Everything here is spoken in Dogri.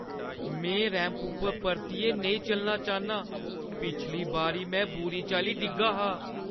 में रैंप उप्पर परतियै नेईं चलना चाह्न्नीं। पिछली बारी में बुरी चाल्ली डिग्गी ही।